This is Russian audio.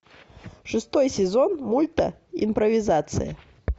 шестой сезон мульта импровизация